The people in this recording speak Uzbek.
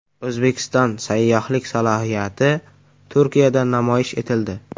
O‘zbekiston sayyohlik salohiyati Turkiyada namoyish etildi.